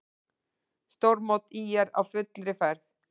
Stórmót ÍR á fullri ferð